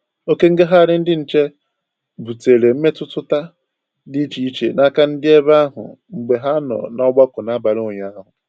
Oke ngagharị ndị nche butere mmetụta dị iche iche n'aka ndị bi ebe ahụ mgbe ha nọ n'ọgbakọ n'abalị ụnyaahụ